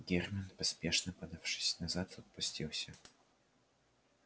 германн поспешно подавшись назад отпустился